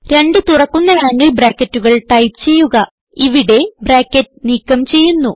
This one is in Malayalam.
രണ്ട് തുറക്കുന്ന ആംഗിൾ ബ്രാക്കറ്റുകൾ ടൈപ്പ് ചെയ്യുക ഇവിടെ ബ്രാക്കറ്റ് നീക്കം ചെയ്യുന്നു